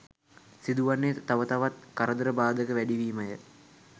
සිදුවන්නේ තව තවත් කරදර බාධක වැඩිවීමය.